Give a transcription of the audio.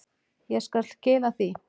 Ég skal skila því.